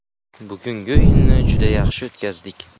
Bugungi o‘yinni juda yaxshi o‘tkazdik.